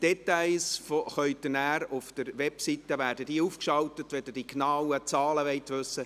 Details werden nachher aufgeschaltet, wenn Sie die genauen Zahlen wissen möchten.